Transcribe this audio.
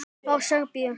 Frá Serbíu.